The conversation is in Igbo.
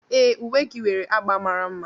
Ee, uwe gị nwere agba mara mma.